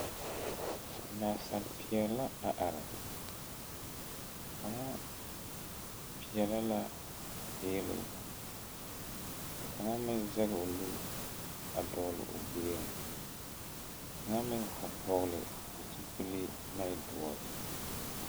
Naasapeɛɛle la are kaŋa peɛɛlɛ la eelee ka kaŋa meŋ zege o nu a dɔɔle o gbieŋ kaŋa meŋ vɔgle zupile ko e doɔre.